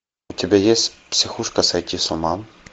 у тебя есть психушка сойти с ума